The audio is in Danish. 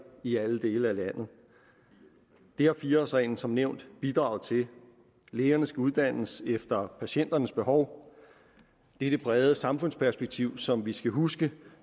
i alle dele af landet det har fire årsreglen som nævnt bidraget til lægerne skal uddannes efter patienternes behov det er det brede samfundsperspektiv som vi skal huske